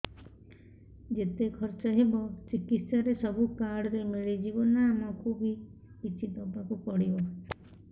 ଯେତେ ଖର୍ଚ ହେବ ଚିକିତ୍ସା ରେ ସବୁ କାର୍ଡ ରେ ମିଳିଯିବ ନା ଆମକୁ ବି କିଛି ଦବାକୁ ପଡିବ